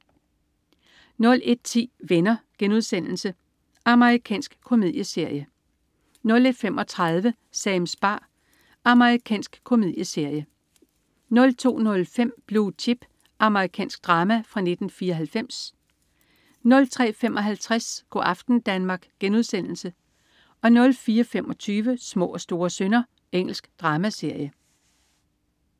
01.10 Venner.* Amerikansk komedieserie 01.35 Sams bar. Amerikansk komedieserie 02.05 Blue Chips. Amerikansk drama fra 1994 03.55 Go' aften Danmark* 04.25 Små og store synder. Engelsk dramaserie